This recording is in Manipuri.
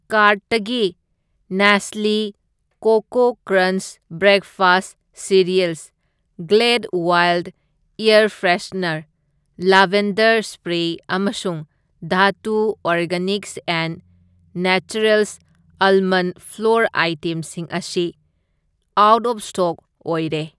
ꯀꯥꯔꯠꯇꯒꯤ Nestle Koko Krunch breakfast cereal, Glade wild air freshener lavender spray ꯑꯃꯁꯨꯡ Dhatu Organics and Naturals almond flour ꯑꯩꯇꯦꯝꯁꯤꯡ ꯑꯁꯤ ꯑꯥꯎꯠ ꯑꯣꯐ ꯁ꯭ꯇꯣꯛ ꯑꯣꯏꯔꯦ꯫